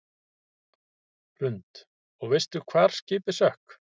Hrund: Og veistu hvar skipið sökk?